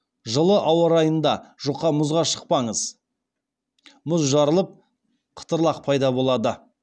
жылы ауа райында жұқа мұзға шықпаңыз